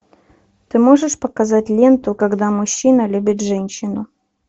ты можешь показать ленту когда мужчина любит женщину